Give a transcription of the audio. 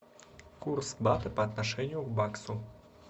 курс бата по отношению к баксу